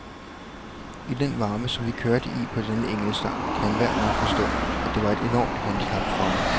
I den varme, som vi kørte i på denne enkeltstart, kan enhver nok forstå, at det var et enormt handicap for mig.